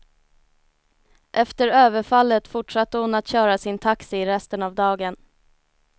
Efter överfallet fortsatte hon att köra sin taxi resten av dagen.